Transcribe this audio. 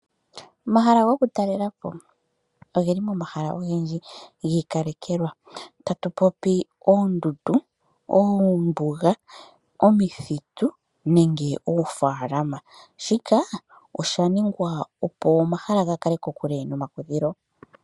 Omahala gokutalelapo ogeli momahala ogendji giikalekelwa. Tatu popi oondundu, oombuga, omithitu nenge oofalama. Shika osha ningwa, opo omahala gakale kokule nomakudhilo.